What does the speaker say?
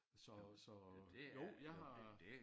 Så så jo jeg har